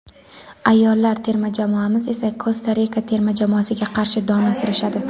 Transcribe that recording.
ayollar terma jamoamiz esa Kosta Rika terma jamoasiga qarshi dona surishadi.